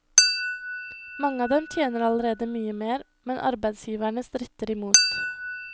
Mange av dem tjener allerede mye mer, men arbeidsgiverne stritter imot.